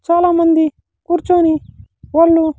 చాలామంది కూర్చొని వాళ్ళు.